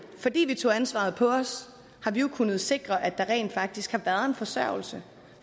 fordi vi tog ansvaret på os kunnet sikre at der rent faktisk har været en forsørgelse